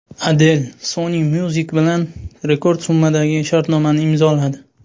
Adel Sony Music bilan rekord summadagi shartnomani imzoladi.